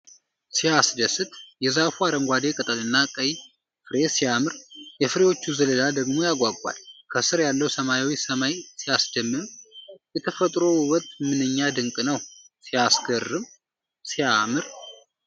ሲያስደስት! የዛፉ አረንጓዴ ቅጠልና ቀይ ፍሬ ሲያምር! የፍሬዎቹ ዘለላ ደግሞ ያጓጓል። ከስር ያለው ሰማያዊ ሰማይ ሲያስደምም! የተፈጥሮ ውበት ምንኛ ድንቅ ነው! ሲያስገርም! ሲያምር!